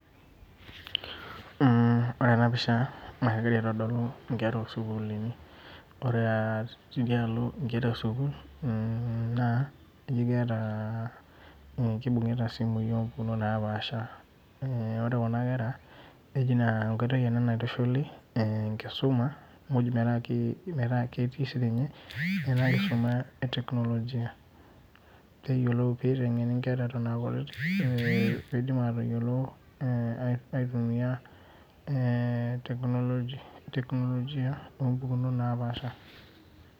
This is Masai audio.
Mh ore ena pisha naa, kegira aitodolu inkera osukuulini . Ore ah tidialo inkera esuukul mm naa, eji keeta eh kibungita isimui opukunot naapasha . Eh eji ore kuna nkera enkoitoi ena naitushuli eh enkisuma muj metaa ketii sininye ena kisuma eteknologia peeitengeni inkera eton ah kutiti piidim atayiolo eh aitumia eh teknologia opukunot naapasha.